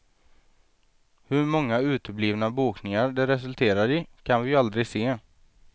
Hur många uteblivna bokningar det resulterar i, kan vi ju aldrig se.